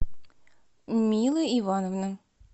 мила ивановна